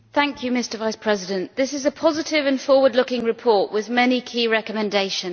Mr President, this is a positive and forward looking report with many key recommendations.